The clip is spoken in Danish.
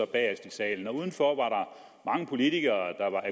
bagest i salen udenfor var der mange politikere